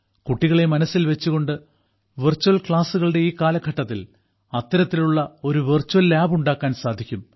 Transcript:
കുട്ടികളെ മനസ്സിൽ വച്ചുകൊണ്ട് വെർച്വൽ ക്ലാസുകളുടെ ഈ കാലഘട്ടത്തിൽ അത്തരത്തിലുള്ള ഒരു വെർച്വൽ ലാബ് ഉണ്ടാക്കാൻ സാധിക്കും